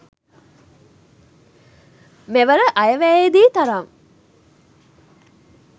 මෙවර අයවැයේදී තරම්